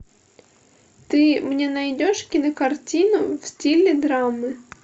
ты мне найдешь кинокартину в стиле драмы